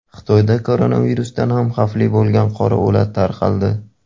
Xitoyda koronavirusdan ham xavfli bo‘lgan qora o‘lat tarqaldi.